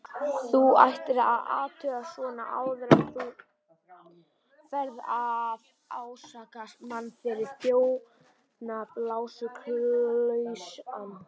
Þú ættir að athuga svona áður en þú ferð að ásaka mann fyrir þjófnað, blásaklausan.